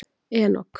Enok